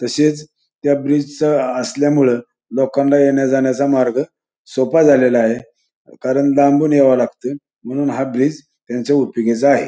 तसेच त्या ब्रीज असल्यामुळे लोकांना येण्या जाण्याचा मार्ग सोपा झालेला आहे कारण लांबून याव लागत म्हणून हा ब्रिज त्यांच्या उपयोगाचा आहे.